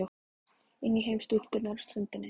Inn í heim stúlkunnar á ströndinni.